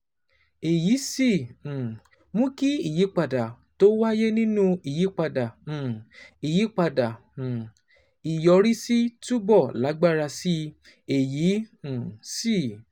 èyí sì um mú kí ìyípadà tó wáyé nínú ìyípadà um ìyípadà um ìyọrísí túbọ̀ lágbára sí i, èyí um sì